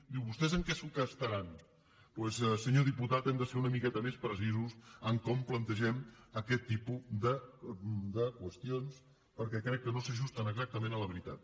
diu vostès en què s’ho gastaran doncs senyor diputat hem de ser una miqueta més precisos en com plantegem aquest tipus de qüestions perquè crec que no s’ajusten exactament a la veritat